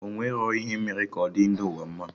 Ọ enwerọ ihe emere ka ọ dị ndị ụwa mma